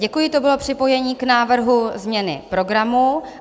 Děkuji, to bylo připojení k návrhu změny program.